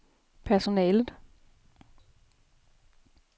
personalet